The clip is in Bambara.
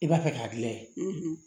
I b'a fɛ k'a layɛ